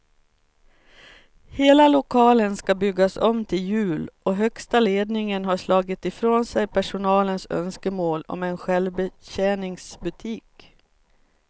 Hela lokalen ska byggas om till jul och högsta ledningen har slagit ifrån sig personalens önskemål om en självbetjäningsbutik.